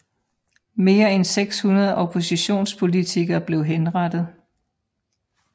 Mere end 600 oppositionspolitikere blev henrettet